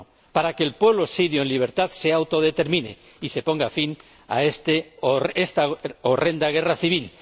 Para que el pueblo sirio en libertad se autodetermine y se ponga fin a esta horrenda guerra civil.